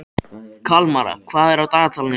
Kalmara, hvað er á dagatalinu í dag?